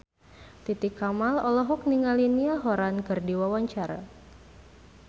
Titi Kamal olohok ningali Niall Horran keur diwawancara